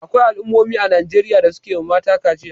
Akwai al'ummomi a Najeriya da suke wa mata kaciya.